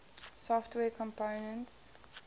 software components